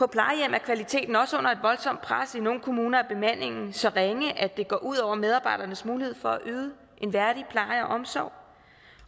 er kvaliteten også under et voldsomt pres i nogle kommuner er bemandingen så ringe at det går ud over medarbejdernes mulighed for at yde en værdig pleje og omsorg